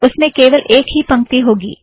उसमें केवल एक ही पंक्ति होगा